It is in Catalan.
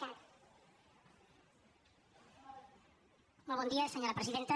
molt bon dia senyora presidenta